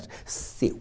Seu,